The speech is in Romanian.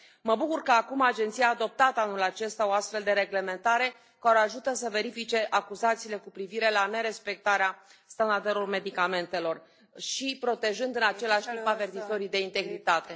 Mă bucur că acum Agenția a adoptat anul acesta o astfel de reglementare care o ajută să verifice acuzațiile cu privire la nerespectarea standardelor medicamentelor și protejând, în același timp, avertizorii de integritate.